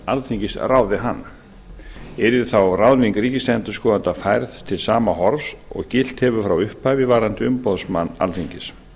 alþingis ráði hann yrði þá ráðning ríkisendurskoðanda færð til sama horfs og gilt hefur frá upphafi varðandi umboðsmann alþingis